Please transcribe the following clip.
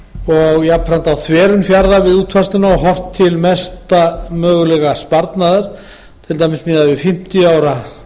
og þverun fjarða við útfærsluna og horft til mesta mögulega sparnaðar miðað við fimmtíu ára